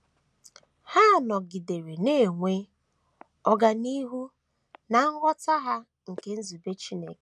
Ha nọgidere na - enwe ọganihu ná nghọta ha nke nzube Chineke.